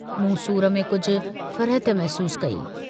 मूं सूर में कुझ फरहत महसूस कई।